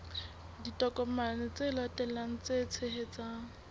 ditokomane tse latelang tse tshehetsang